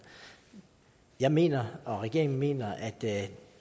jeg mener og regeringen mener at det